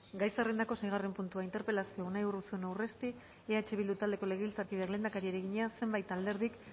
gai zerrendako seigarren puntua interpelazioa unai urruzuno urresti eh bildu taldeko legebiltzarkideak lehendakariari egina zenbait alderdik